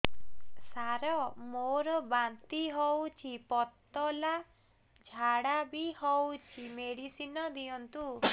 ସାର ମୋର ବାନ୍ତି ହଉଚି ପତଲା ଝାଡା ବି ହଉଚି ମେଡିସିନ ଦିଅନ୍ତୁ